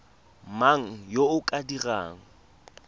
mang yo o ka dirang